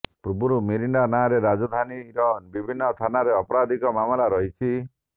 ପୂର୍ବରୁ ମିରିଣ୍ଡା ନାଁରେ ରାଜଧାନୀର ବିଭିନ୍ନ ଥାନାରେ ଆପରାଧିକ ମାମଲା ରହିଛି